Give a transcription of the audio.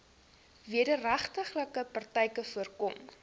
wederregtelike praktyke voorkom